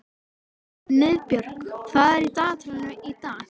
Niðbjörg, hvað er í dagatalinu í dag?